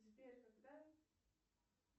сбер когда